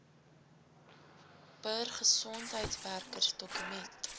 bir gesondheidswerkers dokument